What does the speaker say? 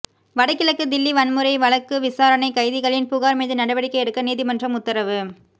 வடகிழக்கு தில்லி வன்முறை வழக்குவிசாரணைக் கைதிகளின் புகாா் மீதுநடவடிக்கை எடுக்க நீதிமன்றம் உத்தரவு